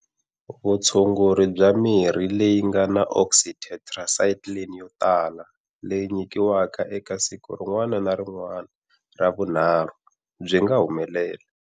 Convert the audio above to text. Vutshunguri bya mirhi leyi nga na oxytetracycline yo tala leyi nyikiwaka eka siku rin'wana na rin'wana ra vunharhu byi nga humelela.